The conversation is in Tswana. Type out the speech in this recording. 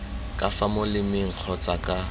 ka fa molemeng kgotsa ka